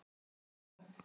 Ég segi nei, takk.